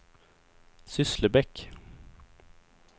Sysslebäck